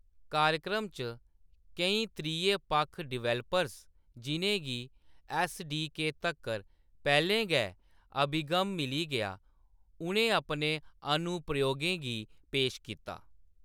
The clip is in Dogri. कार्यक्रम च, केईं त्रिये-पक्ख डेवलपर्स जिʼनें गी ऐस्सडीके तक्कर पैह्‌‌‌लें गै अभिगम मिली गेआ, उʼनें अपने अनुप्रयोगें गी पेश कीता।